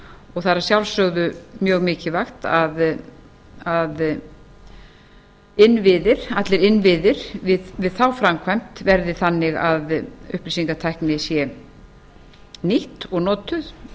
og það er að sjálfsögðu mjög mikilvægt að allir innviðir við þá framkvæmd verði þannig að upplýsingatækni sé nýtt og notuð